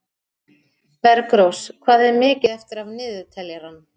Bergrós, hvað er mikið eftir af niðurteljaranum?